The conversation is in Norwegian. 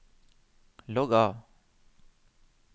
logg av